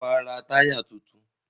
Ṣé wàá ra táyà tuntun?